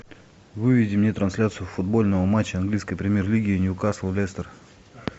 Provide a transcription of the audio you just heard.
выведи мне трансляцию футбольного матча английской премьер лиги ньюкасл лестер